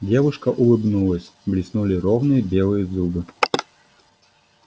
девушка улыбнулась блеснули ровные белые зубы